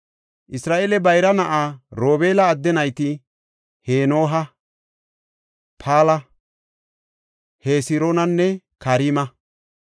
Isra7eele bayra na7aa Robeela adde nayti Henooha, Pala, Hesiroonanne Karma.